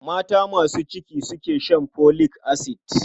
Mata masu ciki su suke shan folic acid.